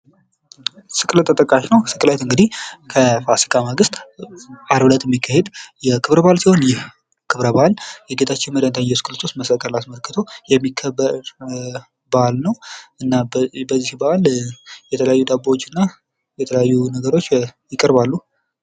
ስቅለት ተጠቃሽ ነው። ስቅለት እንግዲህ ከፋሲካ ማግስት አርብ እለት የሚካሄድ ክብረ በዓል ሲሆን ይህ ክብረበዓል ጌታችን መድኃኒታችን ኢየሱስ ክርስቶስ መሰቀሉን አስመልክቶ የሚከበር በዓል ነው እና በዚህ ባህል የተለያዩ ዳቦዎችና የተለያዩ ነገሮች ይቀርባሉ።